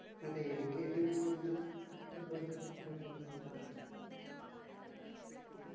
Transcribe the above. അതെ എനിക്ക് ഏറ്റവും ഇഷ്ട്ടമുള്ള football താരം ലയണൽ മെസ്സി തന്നെയാണ്